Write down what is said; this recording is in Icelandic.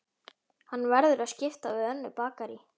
Hann verður að skipta við önnur bakarí.